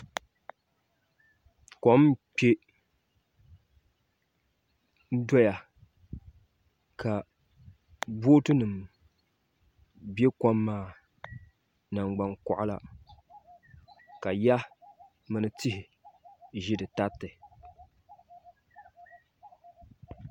Kom n kpɛ doya ka bootu nim bɛ kom maa ni nangban koɣala ka yiya mini tihi ʒi di tariti